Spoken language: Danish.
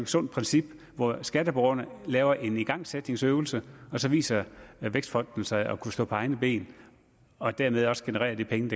sundt princip hvor skatteborgerne laver en igangsætningsøvelse og så viser vækstfonden sig at kunne stå på egne ben og dermed også generere de penge